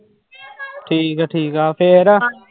ਠੀਕ ਹੈ ਠੀਕ ਹੈ ਫਿਰ।